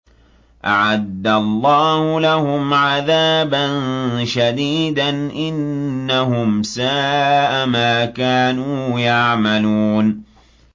أَعَدَّ اللَّهُ لَهُمْ عَذَابًا شَدِيدًا ۖ إِنَّهُمْ سَاءَ مَا كَانُوا يَعْمَلُونَ